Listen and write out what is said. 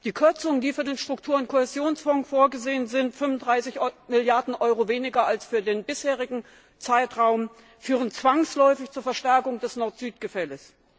Die Kürzungen, die bei den Struktur und Kohäsionsfonds vorgesehen sind 35 Milliarden Euro weniger als für den bisherigen Zeitraum führen zwangsläufig zur Verstärkung des Nord Süd Gefälles.